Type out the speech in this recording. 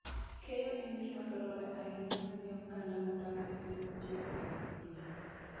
Keyo en gima dwarore ahinya ne oganda modak e piny ma ji ohero purie